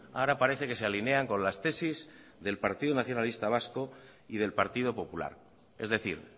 ahora parece que se alinean con las tesis del partido nacionalista vasco y del partido popular es decir